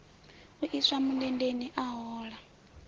u iswa mundendeni a hola